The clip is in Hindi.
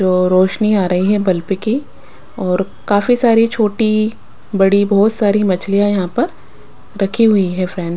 जो रोशनी आ रही है बल्प की और काफी सारे छोटी बड़ी बहुत सारी मछलियाँ यहाँ पर रखी हुई है फ्रेंड्स --